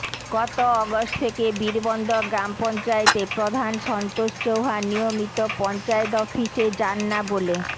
গত অগস্ট থেকে বীরবন্দর গ্রাম পঞ্চায়েতে প্রধান সন্তোষ চৌহান নিয়মিত পঞ্চায়েত অফিসে যান না বলে